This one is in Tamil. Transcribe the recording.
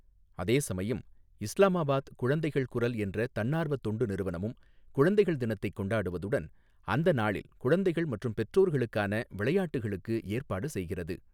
அதேசமயம், இஸ்லாமாபாத் குழந்தைகள் குரல் என்ற தன்னார்வத் தொண்டு நிறுவனமும் குழந்தைகள் தினத்தைக் கொண்டாடுவதுடன், அந்த நாளில் குழந்தைகள் மற்றும் பெற்றோர்களுக்கான விளையாட்டுகளுக்கு ஏற்பாடு செய்கிறது.